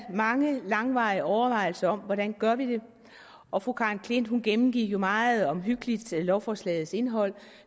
mange langvarige overvejelser om hvordan vi gør det og fru karen klint gennemgik jo meget omhyggeligt lovforslagets indhold